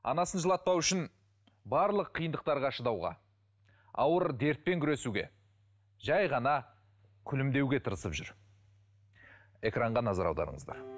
анасын жылатпау үшін барлық қиындықтарға шыдауға ауыр дертпен күресуге жай ғана күлімдеуге тырысып жүр экранға назар аударыңыздар